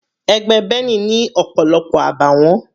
Ẹgbẹ́ Benny ni ọ̀pọ̀lọpọ̀ àbàwọ́n.